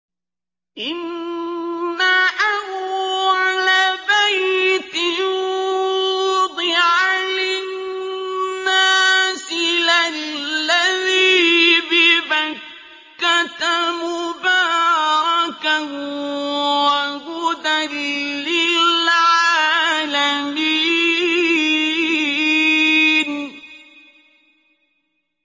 إِنَّ أَوَّلَ بَيْتٍ وُضِعَ لِلنَّاسِ لَلَّذِي بِبَكَّةَ مُبَارَكًا وَهُدًى لِّلْعَالَمِينَ